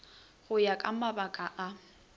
go ya ka mabaka a